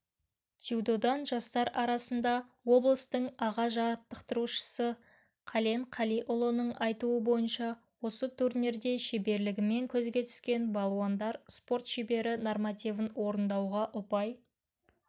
дзюдодан жастар арасында облыстың аға жаттықтырушысы қален қалиұлының айтуы бойынша осы турнирде шеберлігімен көзге түскен балуандар спорт шебері нормативін орындауға ұпай